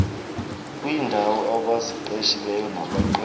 kwiindaw abaziqeshileyo nabaqeshe